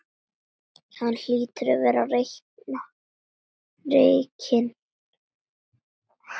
Hann hlýtur að verða rekinn.